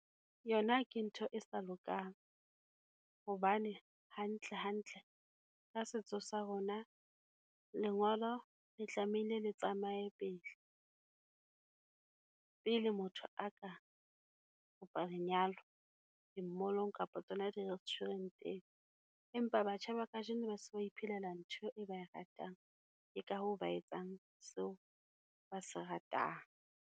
Yona ke ntho e sa lokang, hobane hantlehantle ka setso sa rona, lengolo le tlamehile le tsamaye pele. Pele motho a ka kopa lenyalo, di-mall-ong kapa tsona di-restaurant-eng, empa batjha ba kajeno ba se ba iphelela ntho e ba e ratang, ke ka hoo ba etsang seo ba se ratang.